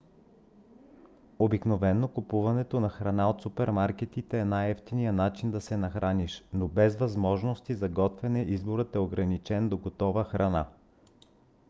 обикновено купуването на храна от супермаркетите е най-евтиният начин да се нахраниш. но без възможности за готвене изборът е ограничен до готова храна